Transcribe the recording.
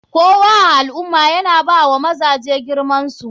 Kowa a alummah yana bawa mazaje girmansu.